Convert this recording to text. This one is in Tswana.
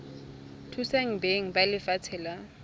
thusa beng ba lefatshe la